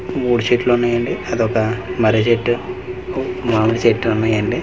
మూడు చెట్లు ఉన్నాయండి అది ఒక మర్రి చేటు మామిడి చేటు ఉన్నాయండి .